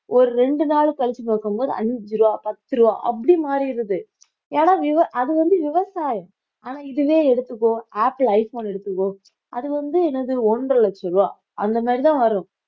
ஒரு ரெண்டு நாள் கழிச்சு பார்க்கும்போது அஞ்சு ரூபாய் பத்து ரூபாய் அப்படி மாறிடுது ஏன்னா விவ~ அது வந்து விவசாயம் ஆனா இதுவே எடுத்துக்கோ ஆப்பிள் ஐஃபோன் எடுத்துக்கோ அது வந்து என்னது ஒன்றரை லட்சம் ரூபாய் அந்த மாதிரிதான் வரும்